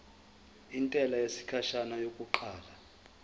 intela yesikhashana yokuqala